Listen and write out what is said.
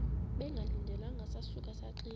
bengalindelanga sasuka saxinga